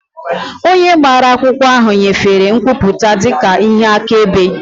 Onye gbara akwụkwọ ahụ nyefere nkwupụta dị ka ihe akaebe.